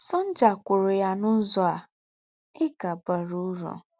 Sọ̀njà kwụ̀rụ̀ yá n’ứzọ̀ à: “Ị́ kà bàrà ứrụ̀.”